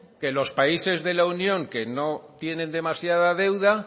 que los países de la unión que no tienen demasiada deuda